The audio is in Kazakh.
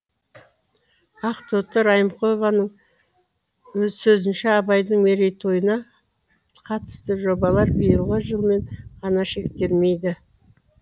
ақтоты райымқұлованың сөзінше абайдың мерейтойына қатысты жобалар биылғы жылмен ғана шектелмейді